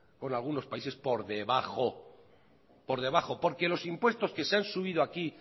con algunos países por debajo porque los impuestos que se han subido aquí